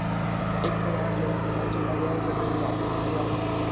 ਇੱਕ ਵਾਰ ਜਿਹੜਾ ਸਮਾਂ ਚਲਾ ਗਿਆ ਉਹ ਕਦੇ ਵੀ ਵਾਪਿਸ ਨਹੀਂ ਆਉਂਦਾ।